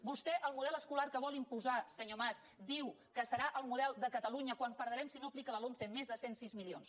vostè el model escolar que vol imposar senyor mas diu que serà el model de catalunya quan perdrem si no aplica la lomce més de cent i sis milions